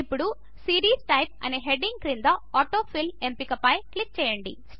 ఇప్పుడు series type అనే heading క్రింద ఆటో ఫిల్ ఎంపిక పై క్లిక్ చేయండి